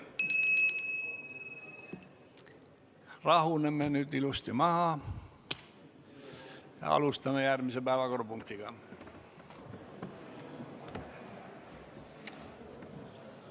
Rahuneme nüüd ilusti maha ja alustame järgmise päevakorrapunkti käsitlemist.